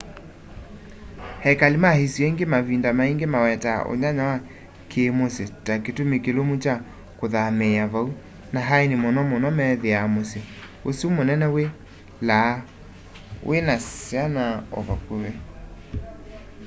ekali ma isio ingi mavinda maingi mawetaa unyanya wa kiimusyi ta kitumi kilumu kya kuthamiia vau na aeni muno muno methia musyi usu munene wi laa wina syana o vakuvi